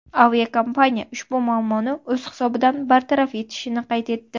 Aviakompaniya ushbu muammoni o‘z hisobidan bartaraf etishini qayd etdi.